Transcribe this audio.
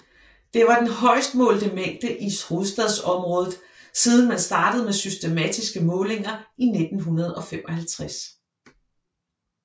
Det var den højest målte mængde i Hovedstadsområdet siden man startede med systematiske målinger i 1955